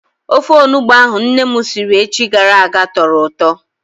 Ofe onugbo ahụ nne m siri eche gara aga tọrọ ụtọ.